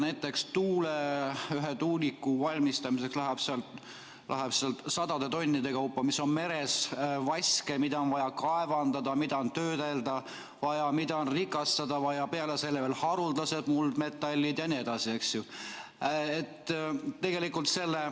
Näiteks, ühe meres oleva tuuliku valmistamiseks kulub sadade tonnide kaupa vaske, mida on vaja kaevandada, töödelda ja rikastada, peale selle on veel haruldased muldmetallid jne, eks ju.